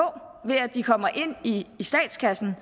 ved at de kommer ind i statskassen